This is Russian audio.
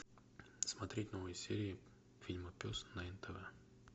смотреть новые серии фильма пес на нтв